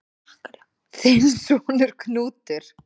Þinn sonur, Knútur.